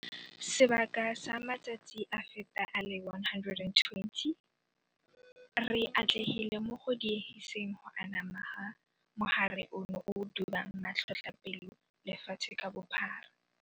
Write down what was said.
Sebaka sa matsatsi a feta a le 120, re atlegile mo go diegiseng go anama ga mogare ono o o dubang matlhotlhapelo lefatshe ka bophara.